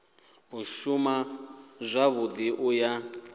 u shuma zwavhui u ya